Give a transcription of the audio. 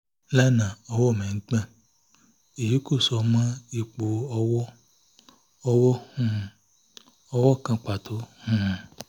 lánàá ọwọ́ mi ń gbọ̀n; èyí kò so mọ́ ipò ọwọ́-ọwọ́ um kan pàtó um